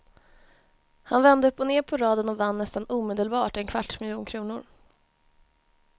Han vände upp och ner på raden och vann nästan omedelbart en kvarts miljon kronor.